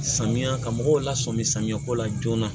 Samiya ka mɔgɔw la sɔmi samiya ko la joona